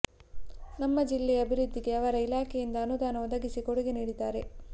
ನಮ್ಮ ಜಿಲ್ಲೆಯ ಅಭಿವೃದ್ಧಿಗೆ ಅವರ ಇಲಾಖೆಯಿಂದ ಅನುದಾನ ಒದಗಿಸಿ ಕೊಡುಗೆ ನೀಡಿದ್ದಾರೆ